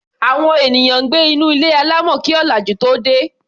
Àwọn ènìyàn gbé nínú ilé alámọ̀ kí ọ̀làjú tóo dé.